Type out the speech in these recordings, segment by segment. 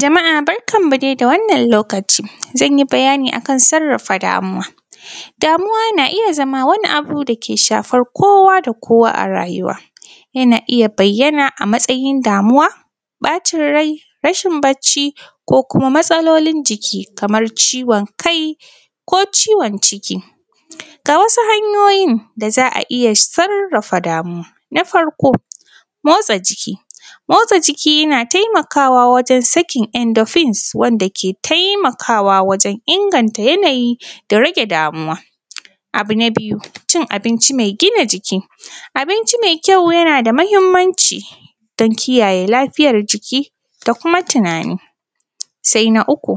Jama’a barkan mu de da wannan lokaci, zan yi bayani a kan sarrafa damuwa. Damuwa na iya zama wani abu da ke shafar kowa da kowa a rayuwa, yana iya bayyana a matsayin damuwa, ƃacin rai, rashin bacci ko kuma matsalolin jiki kamar ciwon kai ko ciwon ciki. Ga wasu hanyoyin da za a iya sarrafa damuwa, na farko motsa jiki, motsa jiki yana taimakawa wajen sakin endorphins wanda ke taimakawa wajen inganta yanayi da rage damuwa, abu na biyu, cin abinci me gina jiki, abinci me kyau yana da mahimmanci dan kiyaye lafiyar jiki da kuma tinani. Sai na uku,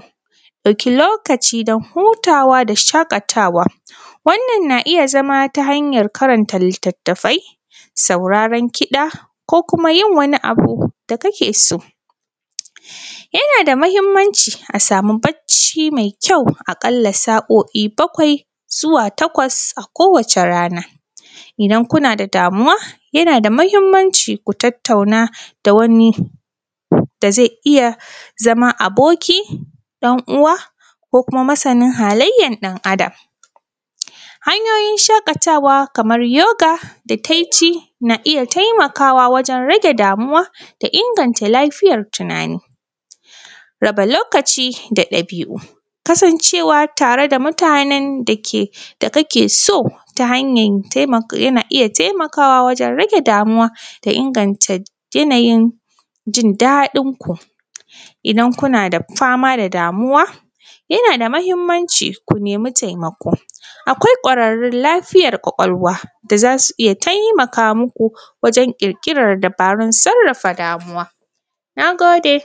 ɗauki lokaci dan hutawa da shaƙatawa, wannan na iya zama ta hanyar karanta litattafai, sauraren kiɗa ko kuma yin wani abu da kake so. Yana da mahimmanci a sami bacci me kyau aƙalla sa’o’i bakwai zuwa takwas a kowace rana, idan kuna da damuwa, yana da mahimmanci ku tattauna da wani da zai iya zama aboki, ‘yan uwa ko kuma masanin halayyan ɗan Adam. Hanyoyin shaƙatawa kamar yoga da taici, na iya taimakawa wajen rage damuwa da inganta lafiyar tinani. Raba lokaci da ɗabi’u, kasancewa tare da mutanen da ke; da ka ke so ta hanyan temak; yana iya temakawa wajen rage damuwa da inganta yanayin jin daɗin ku, idan kuna da fama da damuwa, yana da mahimmanci ku nemi temako, akwai ƙwararrun lafiyar ƙwaƙwalwa, da za su iya taimaka muku wajen ƙirƙirar dabarun sarrafa damuwa, na gode.